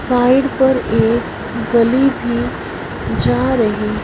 side पर एक गली भी जा रही--